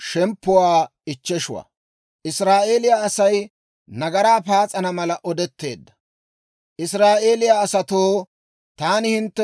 Israa'eeliyaa asatoo, taani hintte bolla zilaaliyaa zilaassaa sisite!